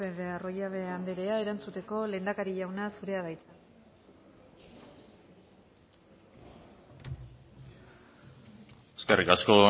de arroyabe anderea erantzuteko lehendakari jauna zurea da hitza eskerrik asko